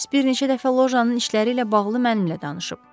Moris bir neçə dəfə lojanın işləri ilə bağlı mənimlə danışıb.